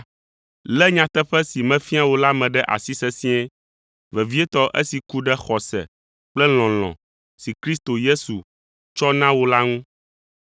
Lé nyateƒe si mefia wò la me ɖe asi sesĩe, vevietɔ esi ku ɖe xɔse kple lɔlɔ̃ si Kristo Yesu tsɔ na wò la ŋu.